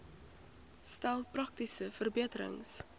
stel praktiese verbeterings